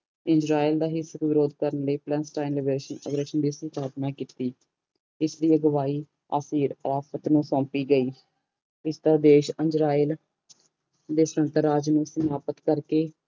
Israel ਦਾ ਹਿਤ ਵਿਰੋਧ ਕਰ ਲਈ ਪਲਨਸਟੈਨ ਅਗਰਸੈਨ ਦੀ ਸਥਾਪਨਾ ਕੀਤੀ ਇਸ ਦੀ ਅਗਵਾਈ ਆਫਿਰ ਆਫ਼ਤ ਨੂੰ ਸੋਪੀ ਗਈ ਇਸ ਉਦੇਸ਼ ਅੰਜਰਾਇਲ ਦੇ ਸੁਤੰਤਰ ਰਾਜ ਨੂੰ ਸਮਾਪਤ ਕਰ ਕੇ